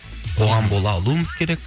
қоғам бола алуымыз керек